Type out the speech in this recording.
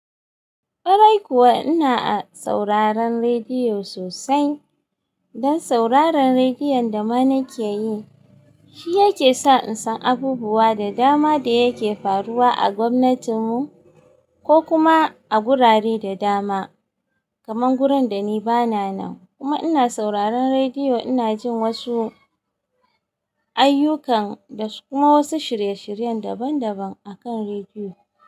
Kwarai kuwa ina a sauraron rediyo sosai. Dan sauraron rediyon da ma na ke yi, shi yake sa in san abubuwa da dama da yake faruwa a gwamnatin mu ko kuma a gurare da dama, kamar gurin da ni bana nan. Kuma ina sauraron rediyo, ina jin wasu ayyukan da kuma wasu shirye-shiryen daban daban akan rediyo.